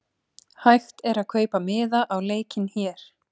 Hægt er að kaupa miða á leikinn hér.